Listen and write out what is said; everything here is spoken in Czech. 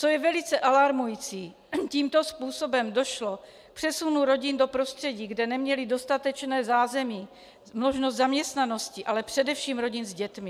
Co je velice alarmující, tímto způsobem došlo k přesunu rodin do prostředí, kde neměly dostatečné zázemí, možnost zaměstnanosti, ale především rodin s dětmi.